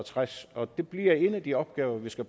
tres det bliver en af de opgaver vi skal